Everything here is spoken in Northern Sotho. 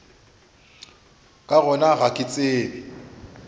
ka gona ga ke tsebe